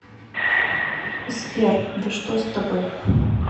сбер да что с тобой